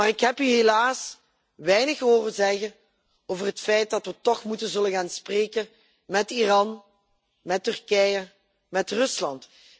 Maar ik heb hier helaas weinig horen zeggen over het feit dat we toch moeten zullen gaan spreken met Iran, met Turkije, met Rusland.